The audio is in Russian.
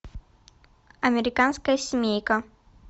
американская семейка